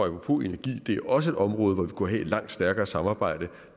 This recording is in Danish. apropos energi er det også et område hvor vi kunne have et langt stærkere samarbejde